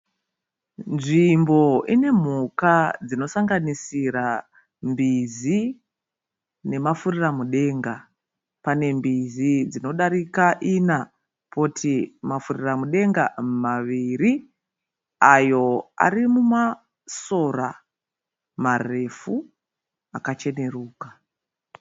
Nzvimbo ine mhuka dzinosanganisira mbizi nemafuriramudenga. Pane mbizi dzinodarika ina poti mafuriramudenga maviri ayo arimumasora marefu akacheneruka.